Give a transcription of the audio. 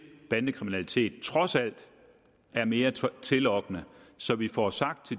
bandekriminalitet trods alt er mere tillokkende så vi får sagt